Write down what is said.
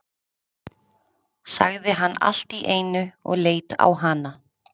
sagði hann allt í einu og leit á hana.